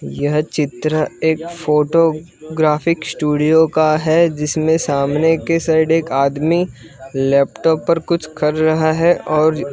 यह चित्र एक फोटो ग्राफिक स्टूडियो का है जिसमें सामने के साइड एक आदमी लैपटॉप पर कुछ कर रहा है और--